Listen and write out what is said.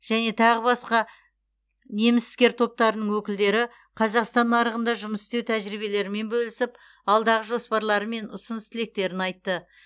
және тағы басқа неміс іскер топтарының өкілдері қазақстан нарығында жұмыс істеу тәжірибелерімен бөлісіп алдағы жоспарлары мен ұсыныс тілектерін айтты